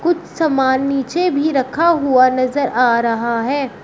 समान नीचे भी रखा हुआ नजर आ रहा है।